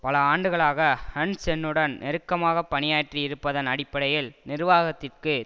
பல ஆண்டுகளாக ஹன்சென்னுடன் நெருக்கமாக பணியாற்றி இருப்பதன் அடிப்படையில் நிர்வாகத்திற்கு